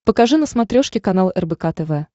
покажи на смотрешке канал рбк тв